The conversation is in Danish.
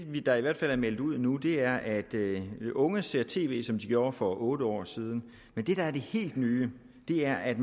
der i hvert fald er meldt ud nu er at unge ser tv som de gjorde for otte år siden men det der er det helt nye er at